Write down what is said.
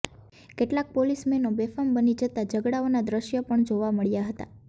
કેટલાક પોલીસ મેનો બેફામ બની જતાં ઝઘડાઓના દૃશ્યો પણ જોવા મળ્યા હતા